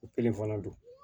O kelen fana don